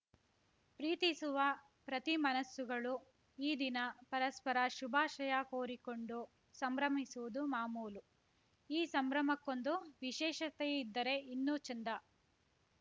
ಪ್ರೀತಿಸುವ ಪ್ರತಿ ಮನಸ್ಸುಗಳು ಈ ದಿನ ಪರಸ್ಪರ ಶುಭಾಶಯ ಕೋರಿಕೊಂಡು ಸಂಭ್ರಮಿಸುವುದು ಮಾಮೂಲು ಈ ಸಂಭ್ರಮಕ್ಕೊಂದು ವಿಶೇಷತೆ ಇದ್ದರೆ ಇನ್ನೂ ಚೆಂದ